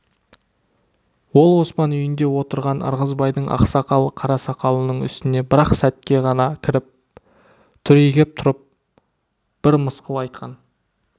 ол оспан үйінде отырған ырғызбайдың ақсақал қарасақалының үстіне бір-ақ сәтке ғана кіріп түрегеп тұрып бір мысқыл айтқан